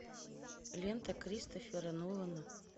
лента кристофера нолана